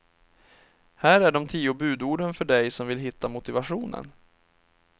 Här är de tio budorden för dig som vill hitta motivationen.